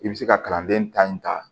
I bɛ se ka kalanden ta in ta